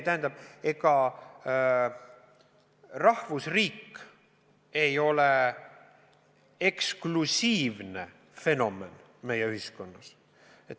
Tähendab, ega rahvusriik ei ole eksklusiivne fenomen meie ühiskonnas.